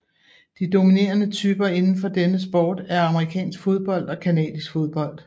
De dominerede typer indenfor denne sport er amerikansk fodbold og canadisk fodbold